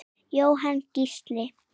Jóhann Gísli.